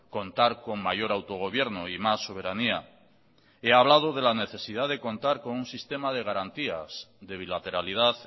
contar con mayor autogobierno y más soberanía he hablado de la necesidad de contar con un sistema de garantías de bilateralidad